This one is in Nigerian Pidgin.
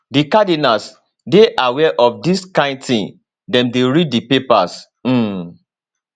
di cardinals dey aware of dis kain tin dem dey read di papers um